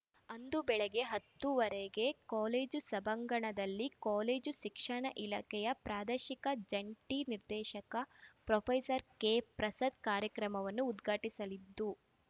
ಅಂದು ಬೆಳಗ್ಗೆ ಹತ್ತು ವರೆಗೆ ಕಾಲೇಜು ಸಭಾಂಗಣದಲ್ಲಿ ಕಾಲೇಜು ಶಿಕ್ಷಣ ಇಲಾಖೆಯ ಪ್ರಾದೇಶಿಕ ಜಂಟಿ ನಿರ್ದೇಶಕ ಪ್ರೊಪೆಸರ್ ಕೆಪ್ರಸಾದ್‌ ಕಾರ್ಯಕ್ರಮವನ್ನು ಉದ್ಘಾಟಿಸಲಿದ್ದು